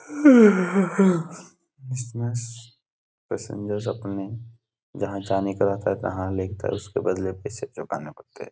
इसमे पेश्ज्रर अपने जहां जाने का रहता है तहाँ उसके बदले पेसे चुकाने पड़ते है।